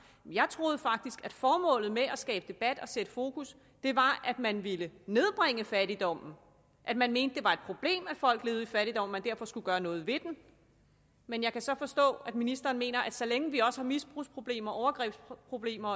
jeg troede faktisk at formålet med at skabe debat og sætte fokus på var at man ville nedbringe fattigdommen at man mente det var et problem at folk levede i fattigdom man derfor skulle gøre noget ved den men jeg kan så forstå at ministeren mener at så længe vi også har misbrugsproblemer overgrebsproblemer